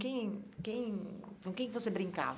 quem, quem, com quem que você brincava?